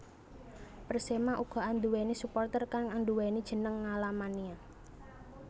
Persema uga anduwèni supporter kang anduwèni jeneng Ngalamania